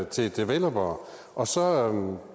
til developere og så